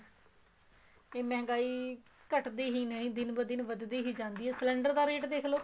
ਕੇ ਮਹਿੰਗਾਈ ਘੱਟਦੀ ਹੀ ਨਹੀਂ ਦਿਨ ਬੇ ਦਿਨ ਵੱਧਦੀ ਹੀ ਜਾਂਦੀ ਏ cylinder ਦਾ rate ਦੇਖਲੋ